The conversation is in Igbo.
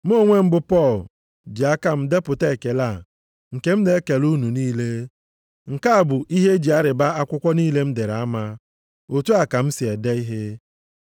Mụ onwe m bụ Pọl ji aka m depụta ekele a, nke m na-ekele unu niile. Nke a bụ ihe e ji arịba akwụkwọ niile m dere ama. Otu a ka m si ede ihe.